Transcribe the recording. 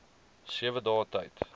sewe dae tyd